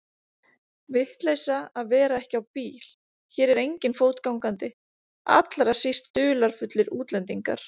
Vitleysa að vera ekki á bíl, hér er enginn fótgangandi, allra síst dularfullir útlendingar.